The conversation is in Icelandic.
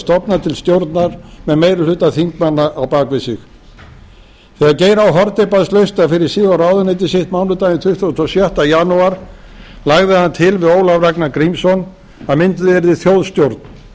stofna til stjórnar með meiri hluta þingmanna á bak við sig þegar geir h haarde baðst lausnar fyrir sig og ráðuneyti sitt mánudaginn tuttugasta og sjötta janúar lagði hann til við ólaf ragnar grímsson að mynduð yrði þjóðstjórn